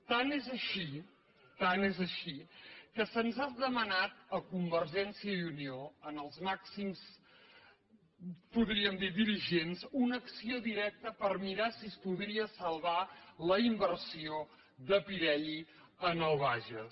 tant és així tant és així que se’ns ha demanat a convergència i unió als màxims podríem dir ne dirigents una acció directa per mirar si es podria salvar la inversió de pirelli en el bages